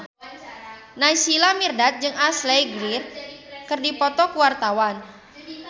Naysila Mirdad jeung Ashley Greene keur dipoto ku wartawan